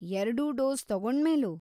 ಎರ್ಡೂ ಡೋಸ್‌ ತಗೊಂಡ್ಮೇಲೂ?